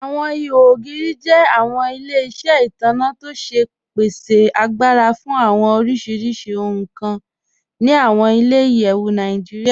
Awọn ìhò ogiri jẹ awọn ilẹ̀-iṣẹ itanna tó ṣe pèsè àgbàrà fún awọn oríṣiríṣì ohun kàn ni awọn ilẹ̀-iyẹ̀wù Nàìjíríà.